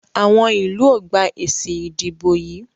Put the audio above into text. Àwọn ilú o gbà èsì ìdìbò yí.